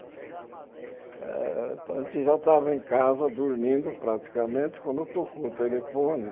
Eh a gente já estava em casa, dormindo praticamente, quando tocou o telefone.